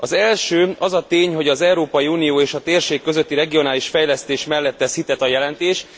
Az első az a tény, hogy az Európai Unió és a térség közötti regionális fejlesztés mellett tesz hitet a jelentés.